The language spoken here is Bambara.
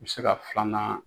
i be se ka filanan